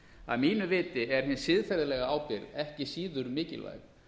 að mínu viti er hin siðferðilega ábyrgð ekki síður mikilvæg